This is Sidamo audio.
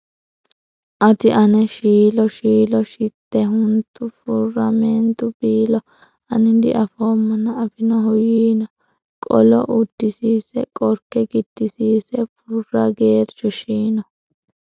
Ati ane shiilo Shiilo shite huntu Furra meentu biilo Ani diafoommana afinohu yiino Qolo uddisiise Qorke giddisiise Furra geerchu shiino.